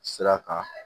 Sira kan